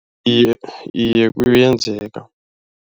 Iye, iye kuyenzeka.